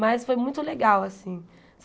Mas foi muito legal, assim.